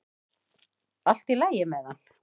Allt í lagi með hann!